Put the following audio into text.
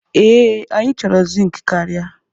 Ee, anyị chọrọ zink karịa.